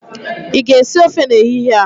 ị ga-esi ofe n'ehihie a?